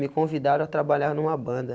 Me convidaram a trabalhar numa banda.